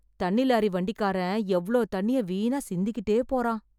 தண்ணி லாரி வண்டிக்காரன் எவ்ளோ தண்ணிய வீணா சிந்திக்கிட்டே போறான்.